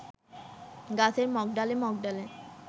গাছের মগডালে মগডালে